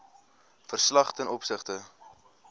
verslag ten opsigte